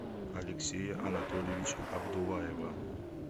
алексея анатольевича абдуллаева